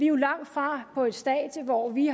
jo langtfra på et stadie hvor vi